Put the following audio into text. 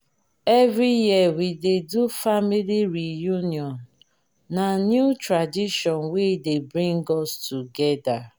every year we dey do family reunion na new tradition wey dey bring us togeda